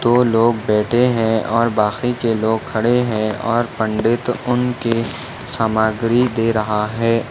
दो लोग बैठे है और बाकी के लोग खड़े है और पंडित उनके सामग्री दे रहा है।